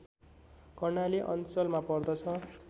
कर्णाली अञ्चलमा पर्दछ